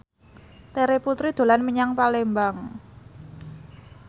Terry Putri dolan menyang Palembang